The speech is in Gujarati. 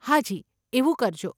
હાજી, એવું કરજો.